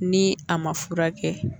Ni a ma furakɛ.